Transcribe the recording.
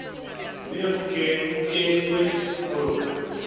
mme ho kenwe ho lona